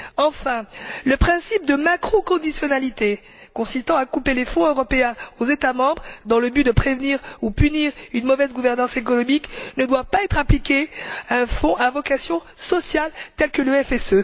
Enfin, le principe de macro conditionnalité, consistant à couper les fonds européens aux États membres dans le but de prévenir ou punir une mauvaise gouvernance économique, ne doit pas être appliqué à un fonds à vocation sociale tel que le FSE.